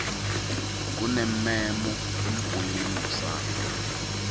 kunemmemo embuleni kusasa